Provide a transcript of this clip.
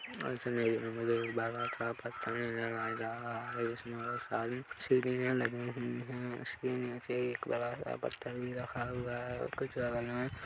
एक बड़ा-सा पत्थर नज़र आ रहा हैं जिसमे बहोत सारी सीढ़िया लगी हुई हैं उसके नीचे एक बड़ा-सा पत्थर भी रखा हुआ हैं और कुछ बगल में--